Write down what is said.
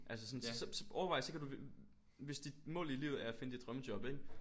Altså sådan så overvej så kan du hvis dit mål i livet er at finde dit drømmejob ikke?